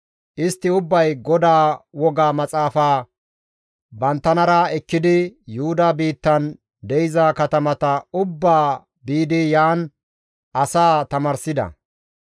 Istti ubbay GODAA Wogaa Maxaafaa banttanara ekkidi Yuhuda biittan de7iza katamata ubbaa biidi yaan asaa tamaarsida.